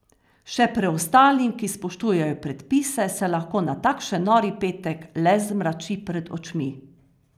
Še preostalim, ki spoštujejo predpise, se lahko na takšen nori petek le zmrači pred očmi.